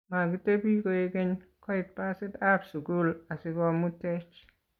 Makitebi koek keny, koit basit ab sukul asikomtuech